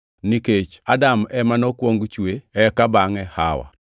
nikech Adam ema nokwong chwe eka bangʼe Hawa.